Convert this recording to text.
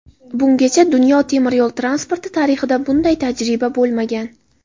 Bungacha dunyo temiryo‘l transporti tarixida bunday tajriba bo‘lmagan.